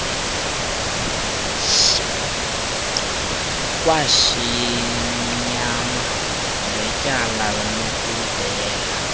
kwesimnyama ngetyala lokudela